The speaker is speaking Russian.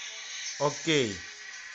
окей